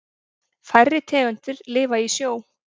Færri tegundir lifa í sjó.